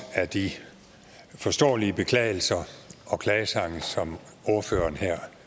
af de forståelige beklagelser og klagesange som ordføreren her